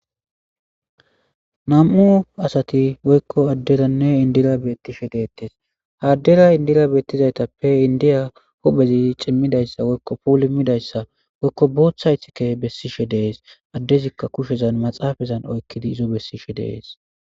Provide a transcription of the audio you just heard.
am7u asati woykko adderanne indira beettishe deettes haaddera indira beettizaytappe indiya hophezi cimmidayssa woykko puul immidayssa woykko boothaythike bessishe dees addezikka kushezan maxaafazan oykkidi izo bessishe dees.